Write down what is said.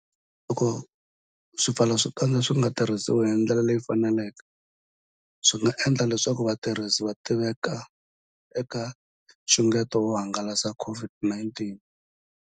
Loko swipfalaxikandza swi nga tirhisiwi hi ndlela leyi faneleke, swi nga endla leswaku vatirhisi va tiveka eka nxungeto wo hangalasa COVID-19.